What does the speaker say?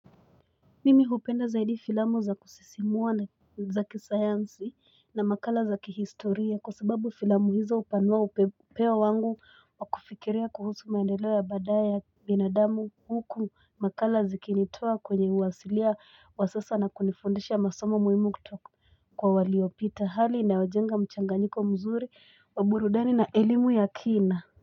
Mimi hupenda zaidi filamu za kusisimua na zaki sayansi na makala za kihistoria kwa sababu filamu hizo upanua upeo wangu wakufikiria kuhusu maendeleo ya baadaye ya binadamu huku makala zikinitoa kwenye uwasilia wa sasa na kunifundisha masomo muhimu kutoka kwa waliopita hali inayojenga mchanganyiko mzuri wa burudani na elimu ya kina.